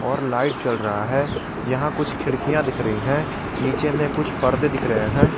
और लाइट जल रहा है यहां कुछ खिड़कियां दिख रही है नीचे में कुछ पर्दे दिख रहे हैं।